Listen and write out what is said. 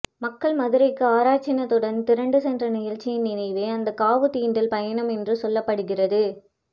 மக்கள் மதுரைக்கு ஆறாச்சினத்துடன் திரண்டு சென்ற நிகழ்ச்சியின் நினைவே அந்த காவுதீண்டல் பயணம் என்றும் சொல்லப்படுகிறது